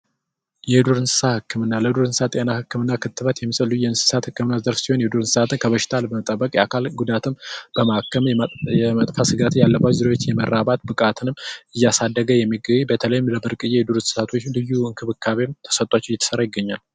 የዱር እንስሳ ህክምና ዱር እንስሳ የሕክምና ክትባት የመሰሉ የእንስሳት ህክምና ዘርፍ ሲሆን፤ ከበሽታ ለመጠበቅ የአካል ጉዳትም በማከም የመጣ ስጋት ያለባቸው የመራባት ስጋት ያለባቸው ብቃትም እያሳደገ የሚገኝ በተለይም ለብርቅዬ የዱር እንስሳቶችም ልዩ እንክብካቤም ተሰጥቷቸው እየሰራ ይገኛል።